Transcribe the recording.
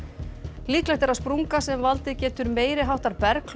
líklegt er að sprunga sem valdið getur meiri háttar